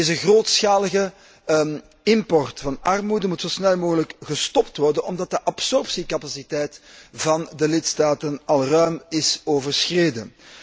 Deze grootschalige import van armoede moet zo snel mogelijk gestopt worden, omdat de absorptiecapaciteit van de lidstaten al ruim is overschreden.